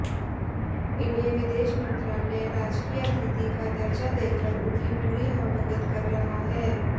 इन्हें विदेश मंत्रालय राजकीय अतिथि का दर्जा देकर उनकी पूरी आवभगत कर रहा है